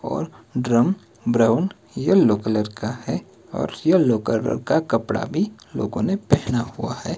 और drum brown yellow colour का है और येलो कलर का कपड़ा भी लोगों ने पहना हुआ है।